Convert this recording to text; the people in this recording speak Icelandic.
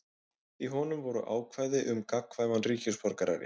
Í honum voru ákvæði um gagnkvæman ríkisborgararétt.